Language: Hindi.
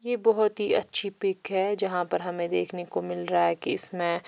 यह बहोत ही अच्छी पिक है जहां पर हमें देखने को मिल रहा है कि इसमें--